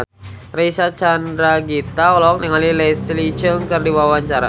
Reysa Chandragitta olohok ningali Leslie Cheung keur diwawancara